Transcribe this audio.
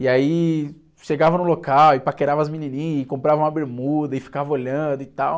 E aí chegava no local e paquerava as menininhas, comprava uma bermuda e ficava olhando e tal.